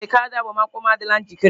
Ee, kaadị agbamakwụkwọ m adịla njikere.